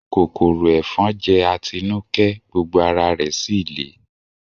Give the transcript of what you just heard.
Kòkòrò ẹ̀fọn jẹ́ Atinúkẹ́, gbogbo ara rẹ̀ síì lé